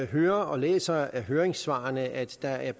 hører og læser i høringssvarene at der er